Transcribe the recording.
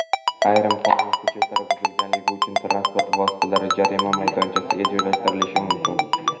Ayrim qonun hujjatlari buzilganligi uchun transport vositalari jarima maydonchasiga joylashtirilishi mumkin.